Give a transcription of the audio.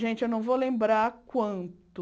Gente, eu não vou lembrar quanto...